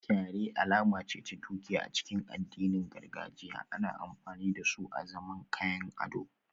Kyare alama ce ta dukiya a cikin addinin gargajiya, ana amfani da su azaman kayan ado